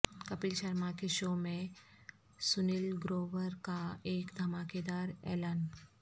کپل شرما کے شو میں سنیل گروور کا ایک دھماکے دار اعلان